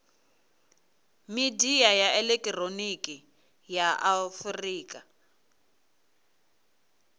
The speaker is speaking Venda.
midia ya elekihironiki ya afurika